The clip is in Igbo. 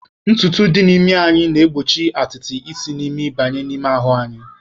Ntutu dị n'imi anyị na-egbochi atịtị isi n'imi banye anyị n'ime ahụ.